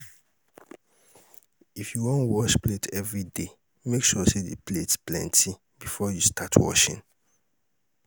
if yu wan wash plate evriday, mek sure say di plates plenti bifor yu start washing